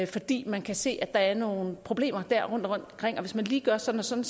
fordi man kan se at der er nogle problemer rundtomkring og at hvis man lige gør sådan og sådan